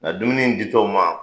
Nka dumuni di tɔ u ma